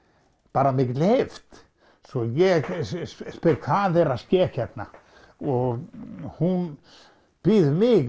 bara af mikilli heift svo ég spyr hvað er að ske hérna og hún biður mig